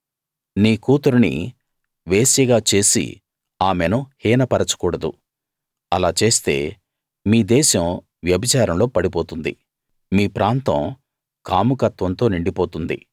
నీ కూతురిని వేశ్యగా చేసి ఆమెను హీనపరచకూడదు అలా చేస్తే మీ దేశం వ్యభిచారంలో పడిపోతుంది మీ ప్రాంతం కాముకత్వంతో నిండిపోతుంది